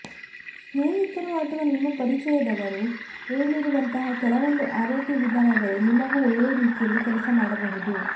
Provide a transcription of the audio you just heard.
ಸ್ನೇಹಿತರು ಅಥವಾ ನಿಮ್ಮ ಪರಿಚಯದವರು ಹೇಳಿರುವಂತಹ ಕೆಲವೊಂದು ಆರೋಗ್ಯ ವಿಧಾನಗಳು ನಿಮಗೂ ಒಳ್ಳೆಯ ರೀತಿಯಲ್ಲಿ ಕೆಲಸ ಮಾಡಬಹುದು